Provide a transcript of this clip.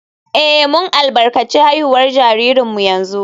Eh, mun albarkaci haihuwar jaririnmu yanzu